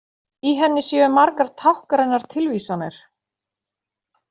Í henni séu margar táknrænar tilvísanir